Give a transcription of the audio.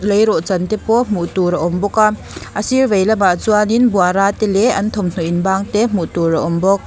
leirawhchan te pawh hmuh tur a awm bawk a a sir veilamah chuanin buara te leh an thawmhnaw inbang te hmuh tur a awm bawk.